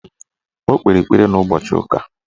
O kpere ekpere n'ụbọchị ụka